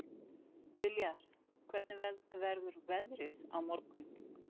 Viljar, hvernig verður veðrið á morgun?